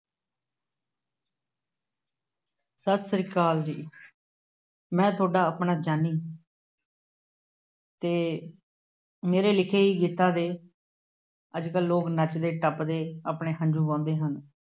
ਸਤਿ ਸ਼੍ਰੀ ਅਕਾਲ ਜੀ, ਮੈਂ ਤੁਹਾਡਾ ਆਪਣਾ ਜਾਨੀ, ਅਤੇ ਮੇਰੇ ਲਿਖੇ ਗੀਤਾਂ ਦੇ ਅੱਜ-ਕੱਲ੍ਹ ਲੋਕ ਨੱਚਦੇ-ਟੱਪਦੇ, ਆਪਣੇ ਹੰਝੂ ਵਹਾਉਂਦੇ ਹਨ।